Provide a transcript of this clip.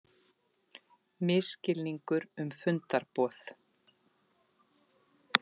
Misskilningur um fundarboð